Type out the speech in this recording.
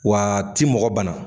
W'a ti mɔgɔ banna